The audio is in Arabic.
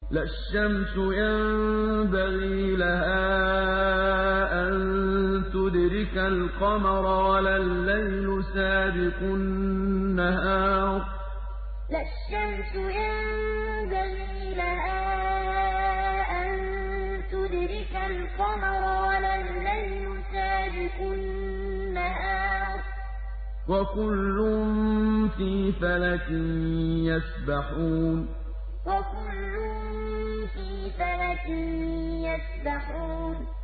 لَا الشَّمْسُ يَنبَغِي لَهَا أَن تُدْرِكَ الْقَمَرَ وَلَا اللَّيْلُ سَابِقُ النَّهَارِ ۚ وَكُلٌّ فِي فَلَكٍ يَسْبَحُونَ لَا الشَّمْسُ يَنبَغِي لَهَا أَن تُدْرِكَ الْقَمَرَ وَلَا اللَّيْلُ سَابِقُ النَّهَارِ ۚ وَكُلٌّ فِي فَلَكٍ يَسْبَحُونَ